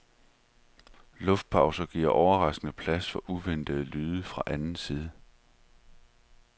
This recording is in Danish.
Luftpauser giver overraskende plads for uventede lyde fra anden side.